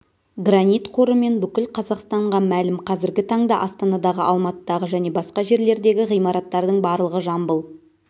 гранит қорымен бүкіл қазақстанға мәлім қазіргі таңда астанадағы алматыдағы және басқа жерлердегі ғимараттардың барлығы жамбыл